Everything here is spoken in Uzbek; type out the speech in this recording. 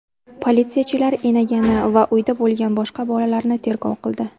Politsiyachilar enagani va uyda bo‘lgan boshqa bolalarni tergov qildi.